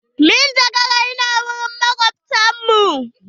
Manjagara ya na wurin makobtan mu.